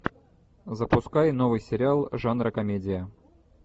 запускай новый сериал жанра комедия